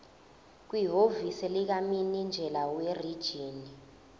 kwihhovisi likamininjela werijini